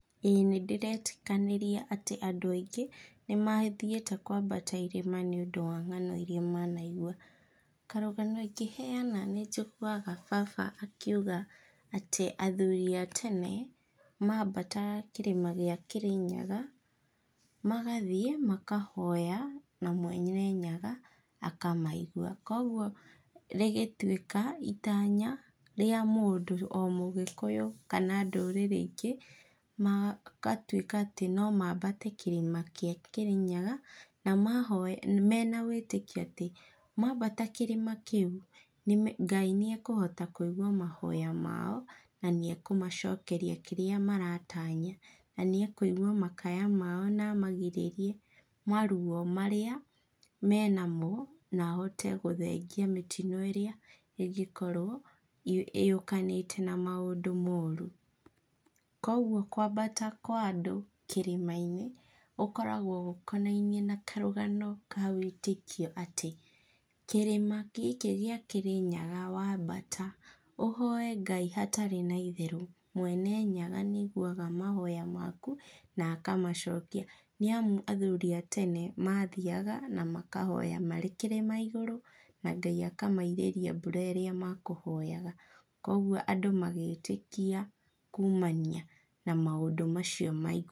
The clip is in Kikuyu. Ĩĩ nĩ ndĩretĩkanĩria atĩ andũ aingĩ, nĩ mathiĩte kwambata irĩma nĩ ũndũ wa ng'ano irĩa manaigua. Karũgano ingĩheana nĩ njiguaga baba akiuga atĩ athuuri a tene, mambataga kĩrĩma gĩa Kĩrĩnyaga, magathiĩ, makahoya na Mwena Nyaga akamaigua. Koguo rĩgĩtuĩka itaanya rĩa mũndũ o Mũgĩkũyũ kana ndũrĩrĩ ingĩ, magatuĩka atĩ no mambate kĩrĩma kĩa Kĩrĩnyaga, na mahoya mena wĩtĩkio atĩ, mambata kĩrĩma kĩu, nĩ Ngai nĩ ekũhota kũigua mahoya mao, na nĩ ekũmacokeria kĩrĩa maratanya. Na nĩ ekũigua makaya mao na amagirĩrie maruo marĩa menamo, na ahote gũthengia mĩtino ĩrĩa ĩngĩkorwo yũkanĩte na maũndũ mooru. Koguo kwambata kwa andũ kĩrĩma-inĩ, ũkoragwo ũkonainie na karũgano ka wĩtĩkio atĩ kĩrĩma gĩkĩ gĩa Kĩrĩnyaga wambata, ũhoye Ngai hatarĩ na itherũ, Mwene Nyaga nĩ aiguaga mahoya maku, na akamacokia. Nĩamu athuuri a tene, maathiaga na makahoya marĩ kĩrĩma igũrũ, na Ngai akamairĩria mbura ĩrĩa makũhoyaga. Kũguo andũ magĩtĩkia kuumania na maũndũ macio.